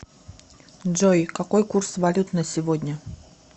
джой какой курс валют на сегодня